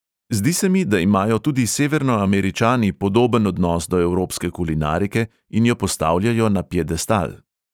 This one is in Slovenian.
Zdi se mi, da imajo tudi severnoameričani podoben odnos do evropske kulinarike in jo postavljajo na piedestal.